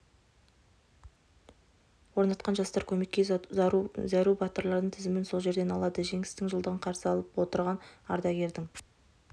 орнатқан жастар көмекке зәру батырлардың тізімін сол жерден алады жеңістің жылдығын қарса алып отырған ардагердің